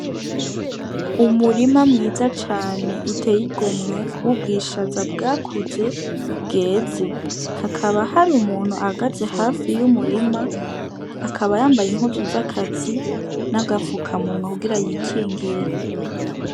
Umurima mwiza cane uteye igomwe, w'ubwishaza bwakuze, bweze. Hakaba hari umuntu ahagaze hafi y'umurima, akaba yambaye impuzu z'akazi, n'agafukamunwa kugira yikingire.